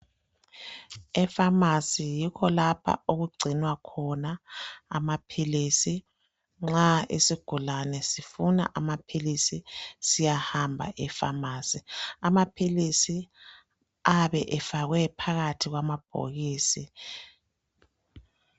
Efamasi yikho lapha okugcinwa khona amaphilisi, nxa isigulane sifuna amaphilisi siyahamba efamasi amaphilisi ayabe efakwe phakathi kwamabhokisi.